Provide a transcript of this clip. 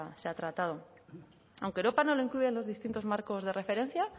se ha tratado aunque europa no lo incluye en los distintos marcos de referencia